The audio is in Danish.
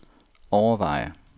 overveje